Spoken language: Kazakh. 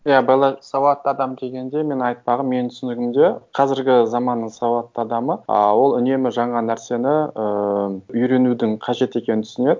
иә белла сауатты адам дегенде мен айтпағым менің түсінігімде қазіргі заманның сауатты адамы ы ол үнемі жаңа нәрсені ыыы үйренудің қажет екенін түсінеді